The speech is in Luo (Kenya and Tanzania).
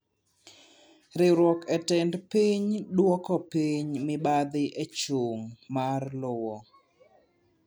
Riwruog tend piny duoko piny mibadhi echung' mar lowo.